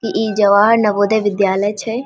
इ जवाहर नवोदय विद्यालय छै ।